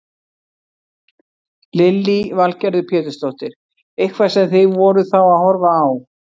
Lillý Valgerður Pétursdóttir: Eitthvað sem þið voruð þá að horfa á?